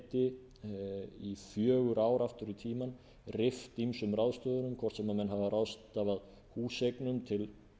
geti í fjögur ár aftur í tímann rift ýmsum ráðstöfunum hvort sem menn hafa ráðstafað húseignum til